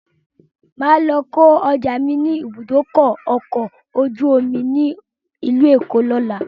Máa lọ kò ọjà mi ni ibùdókọ̀ ọkọ̀ ojú omi ni ilu Èkó ni ọ̀la